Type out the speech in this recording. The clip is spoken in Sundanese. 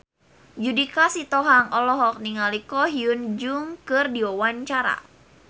Judika Sitohang olohok ningali Ko Hyun Jung keur diwawancara